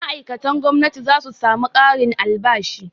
Ma'aikatan gwamnati za su samu ƙarin albashi.